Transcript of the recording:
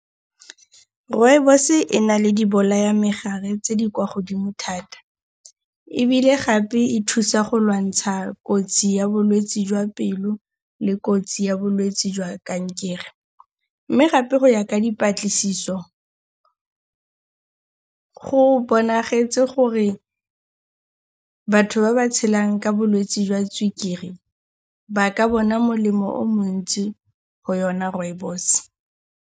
Rooibos e na le dibolayamegare tse di kwa godimo thata ebile gape e thusa go lwantsha kotsi ya bolwetsi jwa pelo le kotsi ya bolwetsi jwa kankere. Mme gape go ya ka dipatlisiso go bonagetse gore batho ba ba tshelang ka bolwetsi jwa sukiri ba ka bona molemo o o montsi go yona rooibos.